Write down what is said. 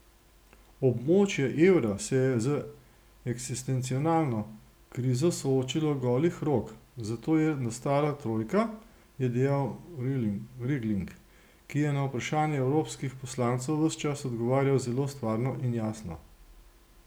Območje evra se je z eksistencialno krizo soočilo golih rok, zato je nastala trojka, je dejal Regling, ki je na vprašanja evropskih poslancev ves čas odgovarjal zelo stvarno in jasno.